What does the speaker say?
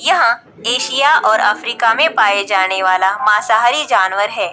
यहां एशिया और अफ्रीका में पाया जाने वाला मांसाहारी जानवर है।